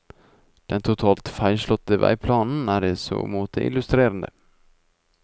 Den totalt feilslåtte veiplanen er i så måte illustrerende.